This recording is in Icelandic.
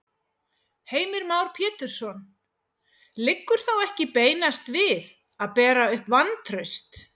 Heimir Már Pétursson: Liggur þá ekki beinast við að bera upp vantraust?